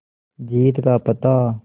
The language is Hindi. जीत का पता